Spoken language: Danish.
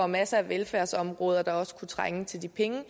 masser af velfærdsområder der også kunne trænge til de penge